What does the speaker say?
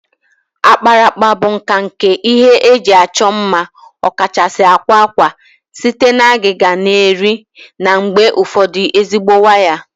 Akparaakpa bụ nka nke ihe eji achọ mma, ọkachasị akwa akwa, site na agịga na eri na mgbe ụfọdụ ezigbo waya